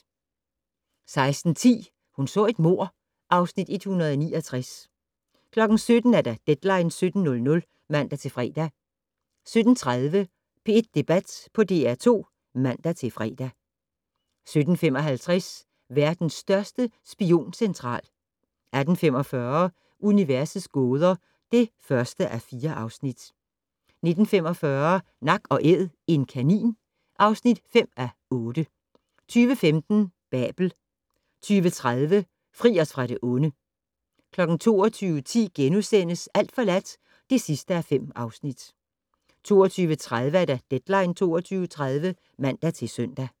16:10: Hun så et mord (Afs. 169) 17:00: Deadline 17.00 (man-fre) 17:30: P1 Debat på DR2 (man-fre) 17:55: Verdens største spioncentral 18:45: Universets gåder (1:4) 19:45: Nak & Æd - en kanin (5:8) 20:15: Babel 20:30: Fri os fra det onde 22:10: Alt forladt (5:5)* 22:30: Deadline 22.30 (man-søn)